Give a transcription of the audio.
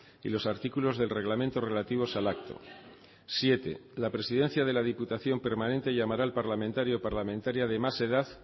y los artículos del reglamento relativos al acto siete la presidencia de la diputación permanente llamará al parlamentario o parlamentaria de más edad